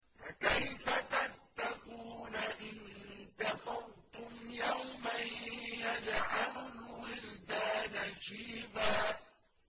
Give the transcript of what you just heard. فَكَيْفَ تَتَّقُونَ إِن كَفَرْتُمْ يَوْمًا يَجْعَلُ الْوِلْدَانَ شِيبًا